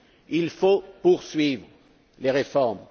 Il faut poursuivre les réformes.